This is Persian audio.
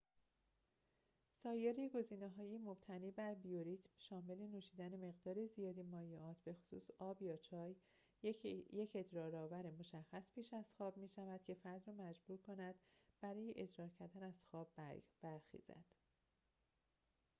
سایر گزینه‌های مبتنی بر بیوریتم شامل نوشیدن مقدار زیادی مایعات بخصوص آب یا چای، یک ادرارآور مشخص پیش از خواب می‌شود که فرد را مجبور می‌کند برای ادرار کردن از خواب برخیزد